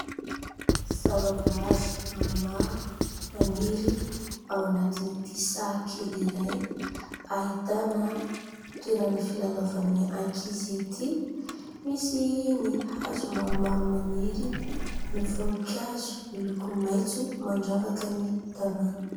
Zava-boaary maromaro, maniry ao anatin'ity sahakely iray, ahitana toerana filalaovan'ny ankizy ity. Misy ny hazo maromaro maniry, ny voninkazo miloko maitso mandravaka ny tanàna.